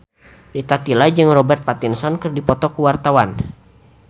Rita Tila jeung Robert Pattinson keur dipoto ku wartawan